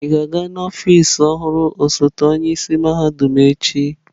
Ị ga-aga n'ọfịs ọhụrụ osote onye isi mahadum echi?